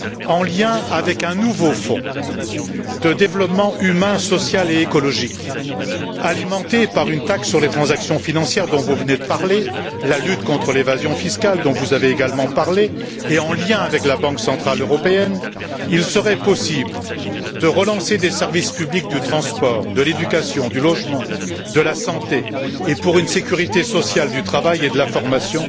En lien avec un nouveau fonds de développement humain, social et écologique, alimenté par une taxe sur les transactions financières dont vous venez de parler, la lutte contre l'évasion fiscale, dont vous avez également parlé, et en lien avec la Banque centrale européenne, il serait possible de relancer des services publics de transport, de l'éducation, du logement, de la santé et pour une sécurité sociale du travail et de la formation,